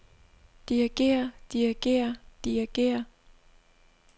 dirigere dirigere dirigere